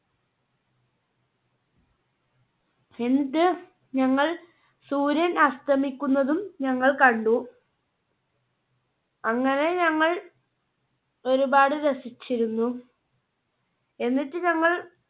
എന്നിട്ട് ഞങ്ങൾ സൂര്യൻ അസ്തമിക്കുന്നതും ഞങ്ങൾ കണ്ടു. അങ്ങനെ ഞങ്ങൾ ഒരുപാട് രസിച്ചിരുന്നു. എന്നിട്ട് ഞങ്ങൾ